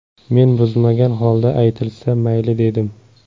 Men buzmagan holda aytilsa, mayli dedim.